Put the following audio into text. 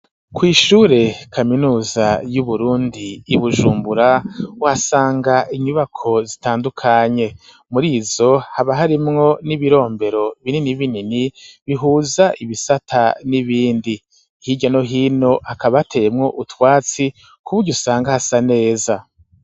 Kw'ishure kaminuza yu Burundi Ibujumbura uhasanga inyubako zitandukanye murizo haba harimwo n'ibirombero binini binini bihuza ibisata n'ibindi hirya no hino hakaba hateyemwo utwatsi kuburyo usanga hasa neza.